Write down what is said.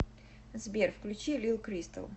сбер включи лил кристал